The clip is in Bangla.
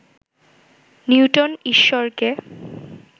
নিউটন ঈশ্বরকে